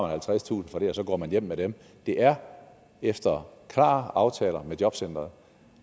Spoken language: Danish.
halvtredstusind kr og så går man hjem med dem det er efter klar aftaler med jobcenteret